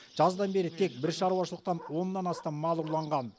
жаздан бері тек бір шаруашылықтан оннан астам мал ұрланған